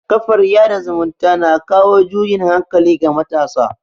kafar yada zumunta na kawo juyin hankali ga matasa